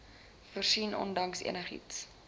voorsien ondanks enigiets